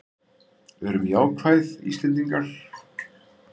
Verum jákvæð Íslendingar!